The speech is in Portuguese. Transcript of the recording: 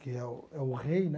Que é o é o rei, né?